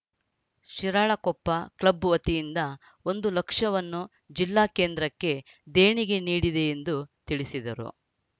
Shiralakoppa club ವತಿಯಿಂದ ಒಂದು ಲಕ್ಷವನ್ನು ಜಿಲ್ಲಾ ಕೇಂದ್ರಕ್ಕೆ ದೇಣಿಗೆ ನೀಡಿದೆ ಎಂದು ತಿಳಿಸಿದರು